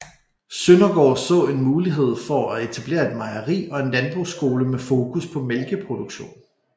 Søndergaard så en mulighed for at etablere et mejeri og en landbrugsskole med fokus på mælkeproduktion